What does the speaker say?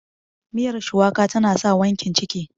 miyar shuwaka tana sa wankin ciki